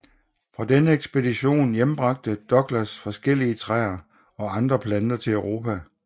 Fra denne ekspedition hjembragte Douglas adskillige træer og andre planter til Europa